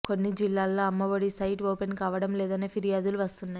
కొన్ని జిల్లాల్లో Amma Vodi site open కావటం లేదనే ఫిర్యాదులు వస్తున్నాయి